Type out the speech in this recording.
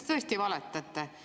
Te tõesti valetate.